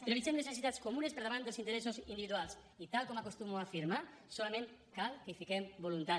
prioritzem les necessitats comunes per davant dels interessos individuals i tal com acostumo a afirmar solament cal que hi fiquem voluntat